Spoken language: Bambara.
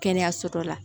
Kɛnɛyaso dɔ la